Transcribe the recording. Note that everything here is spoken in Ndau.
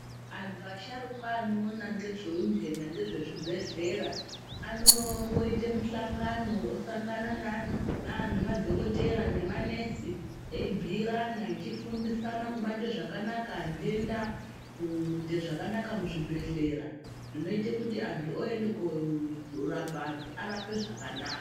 Antu asharukwa anoona ngezveundenda ngezvezvibhehlera anomboite muhlangano osangane neano nemadhokodhera nemanesi eibhuyirana echifundisana kubate zvakanaka ndenda kuite zvakanaka muzvibhehlera zvinoite kuti antu oende korapa antu arape zvakanaka.